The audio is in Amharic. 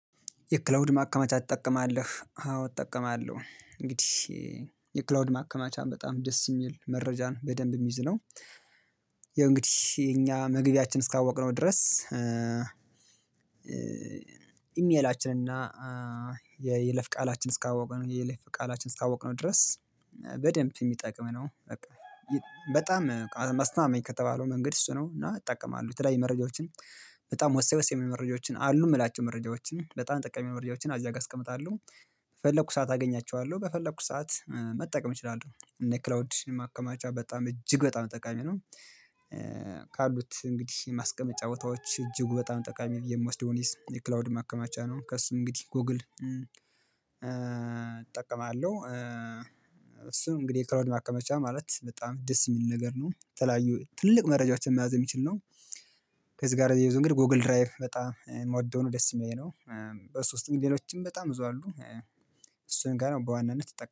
የክላውድ ማከመቻ ትጠቀማለህ? አዎ እጠቀማለሁ እንግዲህ የክላውድ ማከመቻም በጣም ደስ የሚል መረጃን በደንብ የሚይዝ ነው። ይሄ እንግዲህ እኛ መግቢያችን እስካወቅነው ድረስ ኢሜላችን እና የይለፍ ቃላችን እስካወቅነው የለፍ ቃላችን እስካወቅነው ድረስ በደንብ የሚጠቅም ነው በቃ በጣም አስተማመኝ ከተባለው መንገድ እሱ ነው እና እጠቀማለሁ የተለያየ መረጃዎችን በጣም ወሳኝ ወሳኝ መረጃዎችን አሉ የምላቸው መረጃዎችን በጣም ጠቀሜ መረጃዎችን እዚያ ጋር አስቀምጣለሁ። በፈለኩ ሰዓት አገኛቸዋለሁ በፈለኩ ሰዓት መጠቀም እችላለሁ እነ ክላውድ ማከማቻ በጣም እጅግ በጣም ጠቃሚ ነው። ካሉት እንግዲህ ማስቀመጫ ቦታዎች እጅጉ በጣም ጠቃሚ የምወስደውን የክላውድ ማከማቻ ነው። ከሱ እንግዲህ ጎግል እጠቀማለሁ እሱን እንግዲህ ክላውድ ማከማቻ ማለት በጣም ደስ የሚል ነገር ነው። የተለያዩ ትልቅ መረጃዎችን መያዝ የሚችል ነው። ከዚህ ጋር አያይዞ እንግዲህ ጎግል ድራይቭ በጣም የምወደው ነው። ደስ የሚለኝ ነው። በሱ ውስጥ ግን ሌሎችም በጣም ብዙ አሉ። እሱን ጋር በዋናነት